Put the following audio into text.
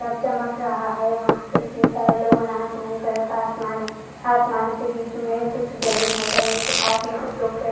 घर चमक रहा है वहां पर इतने सारे लोग है ब्लू कलर का आसमान है आसामान के बिच में कुछ जमीन है जमीन के पास में कुछ लोग खड़े हुए है।